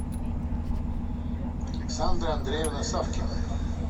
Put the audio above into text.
александра андреевна савкина